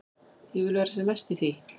Ég vil vera sem mest í því.